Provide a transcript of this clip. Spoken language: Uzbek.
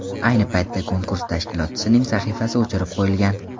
Ayni paytda konkurs tashkilotchisining sahifasi o‘chirib qo‘yilgan.